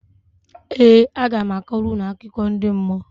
Ee, aga m akọrọ unu akụkọ ndị mmụọ